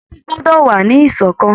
Ẹbí gbọ́dọ̀ wà ní ìṣọ̀kan